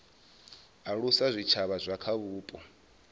alusa zwitshavha zwa kha vhupo